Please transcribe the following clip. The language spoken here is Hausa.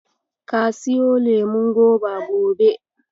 Ka suyo lemon goba gobe.